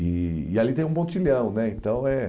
E e ali tem um pontilhão né então eh